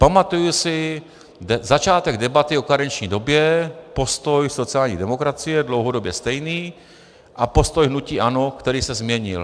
Pamatuji si začátek debaty o karenční době, postoj sociální demokracie dlouhodobě stejný a postoj hnutí ANO, který se změnil.